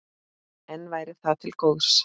En væri það til góðs?